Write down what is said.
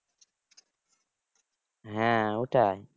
হ্যাঁ ওটাই